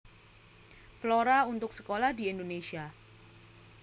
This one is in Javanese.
Flora untuk sekolah di Indonesia